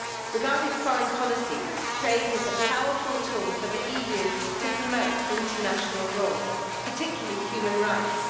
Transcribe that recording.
Regarding foreign policy, trade is a powerful tool for the EU to promote international law, particularly human rights.